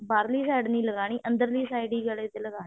ਬਾਹਰੀ side ਨੀ ਲਗਾਉਣੀ ਅੰਦਰਲੀ side ਹੀ ਗਲੇ ਤੇ ਲਗਾਉਣ ਹੈ